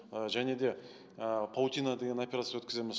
және де ы паутина деген операция өткіземіз